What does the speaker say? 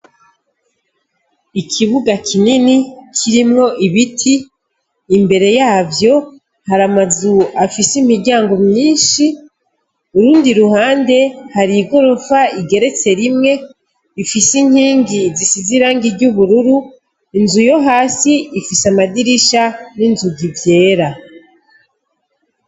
Ikibuga kinini kirimwo ibiti, imbere yavyo hariho amazu afise imiryango myinshi, urundi ruhande hari igorofa igeretse rimwe, ifise inkingi zisize irangi ry'ubururu, inzu yo hasi ifise amadirisha n'inzugi vyera.